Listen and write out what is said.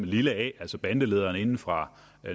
lille a altså bandelederen inde fra